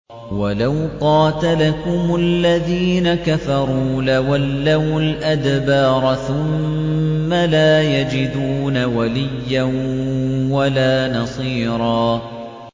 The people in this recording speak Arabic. وَلَوْ قَاتَلَكُمُ الَّذِينَ كَفَرُوا لَوَلَّوُا الْأَدْبَارَ ثُمَّ لَا يَجِدُونَ وَلِيًّا وَلَا نَصِيرًا